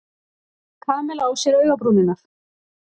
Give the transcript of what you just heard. Kamilla á sér augabrúnirnar.